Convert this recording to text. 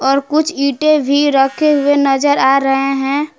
और कुछ ईंटे भी रखे हुए नजर आ रहे हैं।